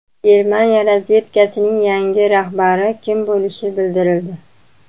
Germaniya razvedkasining yangi rahbari kim bo‘lishi bildirildi.